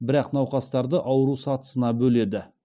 бірақ науқастарды ауру сатысына бөледі